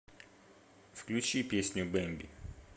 включи песню бемби